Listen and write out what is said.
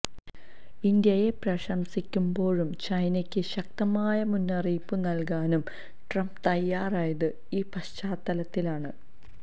ഇന്ത്യയെ പ്രശംസിക്കുമ്പോഴും ചൈനക്ക് ശക്തമായ മുന്നിറിയിപ്പു നല്കാനും ട്രംപ് തയാറായത് ഈ പശ്ചാത്തലത്തിലാണ്